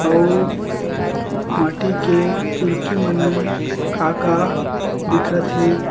अउ माटी के चुरकी मन में का-का दिखत हे।